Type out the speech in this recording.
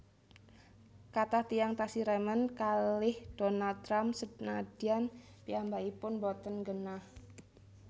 Kathah tiyang tasih remen kalih Donald Trump senadyan piyambakipun mboten nggenah